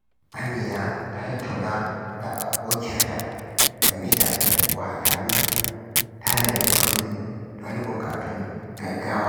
Amina ta tattauna da abokiyarta game da wahalhalun tanadin kudi don bukatun gaggawa.